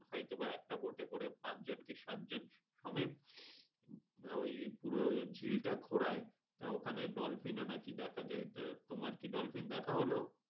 হয়তো বা একটা boat এ করে পাঁচজন কি সাতজন হবে। আহ ওই পুরো চিল্টা ঘুরাই আহ ওখানে dolphin ও নাকি দেখা যায়। তোমার কি dolphin দেখা হল?